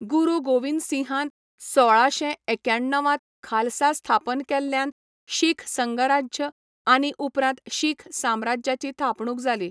गुरू गोविंदसिंहान सोळाशे एख्याण्णवांत खालसा स्थापन केल्ल्यान शीख संघराज्य आनी उपरांत शीख साम्राज्याची थापणूक जाली.